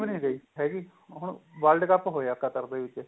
ਨੀਂ ਰਹੀ ਹੈਗੀ ਹੁਣ world ਕਪ ਹੋਇਆ qatar ਦੇ ਵਿਚ